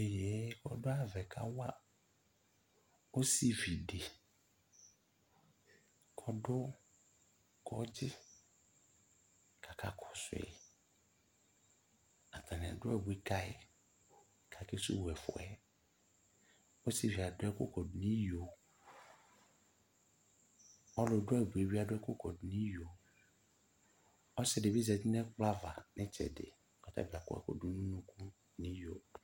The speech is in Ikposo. Iyeye kɔdʋ ayava yɛ kawa osividi kɔdʋ kɔdzi k'aka kɔsʋ yi Atanɩ adʋ abui kayi k'akesuwu ɛfu yɛ Osivi yɛ adʋ ɛkʋ kɔdʋ nʋ iyo, ɔlʋ dʋ abui yɛ bɩ adʋ ɛkʋ kɔdʋ n'iyo, ɔsɩ dɩ bɩ zati n'ɛkplɔ ava n'ɩtsɛdɩ k'ɔtabɩ akɔ ɛkʋdʋ n'unuku n'iyo